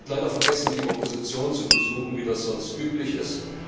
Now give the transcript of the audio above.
Er hat leider vergessen, die Opposition zu besuchen, wie das sonst üblich ist.